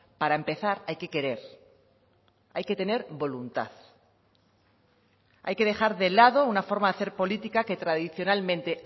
para empezar hay que querer hay que tener voluntad hay que dejar de lado una forma de hacer política que tradicionalmente